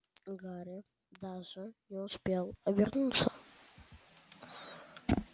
гарри даже не успел обернуться